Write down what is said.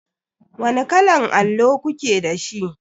Wani kalan allo kuke da shi?